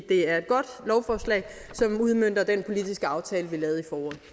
det er et godt lovforslag som udmønter den politiske aftale vi lavede